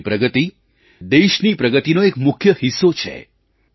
તમારી પ્રગતિ દેશની પ્રગતિનો એક મુખ્ય હિસ્સો છે